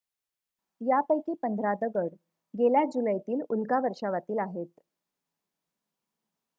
यापैकी पंधरा दगड गेल्या जुलैतील उल्का वर्षावातील आहेत